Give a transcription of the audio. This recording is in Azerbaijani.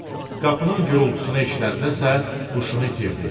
Qapının gurultusunu eşidəndəsə huşunu itirdi.